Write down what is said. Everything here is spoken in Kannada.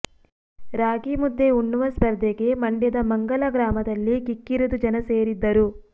ರಾಗಿ ಮುದ್ದೆ ಉಣ್ಣುವ ಸ್ಪರ್ಧೆಗೆ ಮಂಡ್ಯದ ಮಂಗಲ ಗ್ರಾಮದಲ್ಲಿ ಕಿಕ್ಕಿರಿದು ಜನ ಸೇರಿದ್ದರು